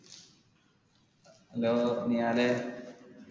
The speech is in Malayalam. hello നിഹാലെ